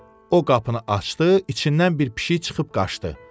O qapını açdı, içindən bir pişik çıxıb qaçdı.